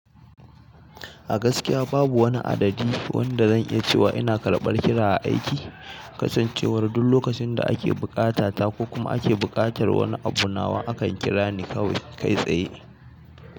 A gaskiya babu wani adadi wanda zan iya cewa ina karɓar kira a aiki, kasancewar duk lokacin da ake buƙata ta ko kuma ake buƙatar wani abu nawa, akan kira ni kawai kai tsaye.